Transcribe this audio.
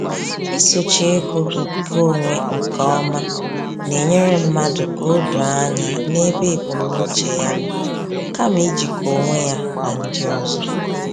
Isochi ego nke onwe nke ọma na-enyere mmadụ ka o doo anya n’ebe ebumnuche ya nọ, kama ijikọ onwe ya na ndị ọzọ.